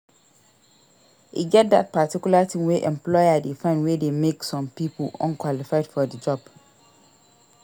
E get that particular thing wey employer de find wey de make some pipo unqualified for the job